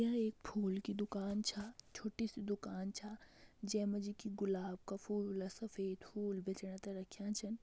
य एक फूल की दुकान छा छोठी सी दुकान छा जे मा जी कि गुलाब का फूल सफेद फूल बेचणा ते रख्यां छन।